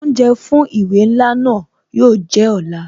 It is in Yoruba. Oúnjẹ fún ìwé ńlá náà yo jẹ́ ọ̀la